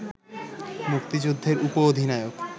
মুক্তিযুদ্ধের উপ অধিনায়ক